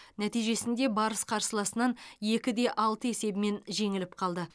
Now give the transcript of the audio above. нәтижесінде барыс қарсыласынан екі де алты есебімен жеңіліп қалды